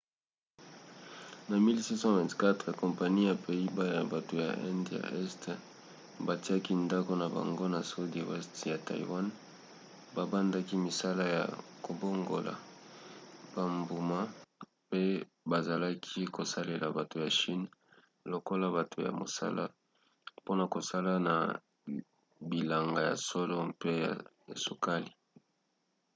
na 1624 kompani ya pays-bas ya bato ya inde ya este batiaki ndako na bango na sudi weste ya taiwan babandaki misala ya kobongola bambuma pe bazalaki kosalela bato ya chine lokola bato ya mosala mpona kosala na bilanga ya loso mpe ya sukali